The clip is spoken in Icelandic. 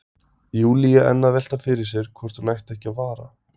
Júlía enn að velta fyrir sér hvort hún ætti ekki að vara